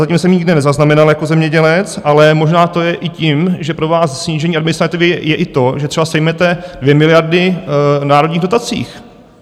Zatím jsem nikde nezaznamenal jako zemědělec, ale možná to je i tím, že pro vás snížení administrativy je i to, že třeba sejmete 2 miliardy v národních dotacích.